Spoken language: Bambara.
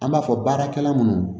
An b'a fɔ baarakɛla munnu